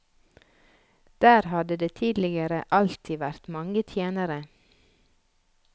Der hadde det tidligere alltid vært mange tjenere.